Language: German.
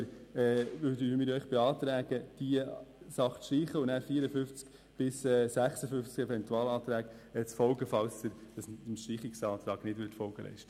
Wir beantragen, diese Artikel zu streichen oder den Eventualanträgen zuzustimmen, falls Sie dem Streichungsantrag nicht folgen.